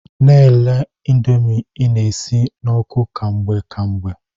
Na-ele ịndomii ị na-esi n'oku ka mgbe ka mgbe.